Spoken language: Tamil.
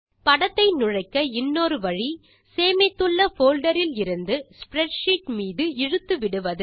படத்தை நுழைக்க இன்னொரு வழி சேமித்துள்ள போல்டர் இலிருந்து ஸ்ப்ரெட்ஷீட் மீது இழுத்து விடுவது